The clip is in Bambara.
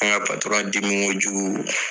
An ka patɔrɔn dimi ko jugu